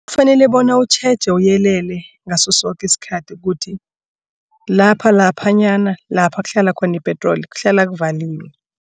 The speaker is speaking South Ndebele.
Kufanele bona utjheje uyelele ngaso soke isikhathi ukuthi lapha laphanyana lapha kuhlala khona ipetroli kuhlala kuvaliwe.